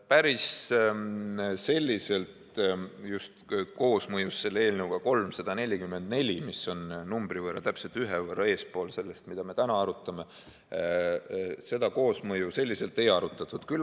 Päris selliselt koosmõjus eelnõuga 344, mis on täpselt ühe numbri võrra eespool sellest, mida me täna arutame, seda ei arutatud.